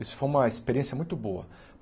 Isso foi uma experiência muito boa.